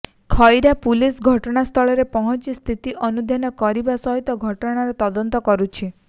Khaira police ଘଟଣାସ୍ଥଳରେ ପହଞ୍ଚି ସ୍ଥିତି ଅନୁଧ୍ୟାନ କରିବା ସହିତ ଘଟଣାର ତଦନ୍ତ କରୁଛି